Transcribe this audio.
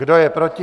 Kdo je proti?